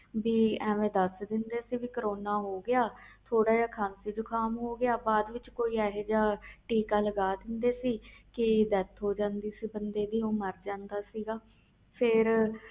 ਕਿ ਐਵੇ ਦਸ ਦਿੰਦੇ ਕਿ ਕਰਨਾ ਹੋ ਗਿਆ ਥੋੜ੍ਹਾ ਜਾ ਖ਼ਾਸੀ ਜੁਕਮ ਹੋ ਜਾਂਦਾ ਤੇ ਫਰ ਕੋਈ ਇਹੋ ਜਿਹਾ ਟੀਕਾ ਲਗਾ ਦਿੰਦੇ ਸੀ ਜਿਸ ਨਾਲ ਬੰਦਾ ਮਾਰ ਜਾਂਦਾ ਸੀ